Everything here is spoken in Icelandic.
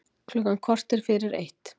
Klukkan korter fyrir eitt